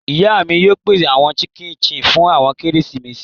Iya mi yóò pese awọn chik chin fun keresimesi